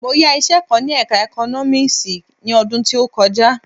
Mo yá iṣẹ kan ní ẹka Economics ni ọdún tí ó kọjá.